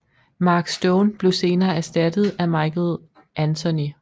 Mark Stone blev senere erstattet af Michael Anthony